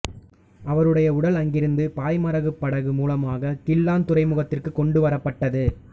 அவருடைய உடல் அங்கிருந்து பாய்மரப்படகு மூலமாக கிள்ளான் துறைமுகத்திற்கு கொண்டு வரப்பட்டது